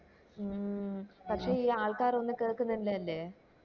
മ് പക്ഷെ ഈ ആൾക്കാര് ഒന്ന് കേൾക്കിന്നില്ലല്ലേ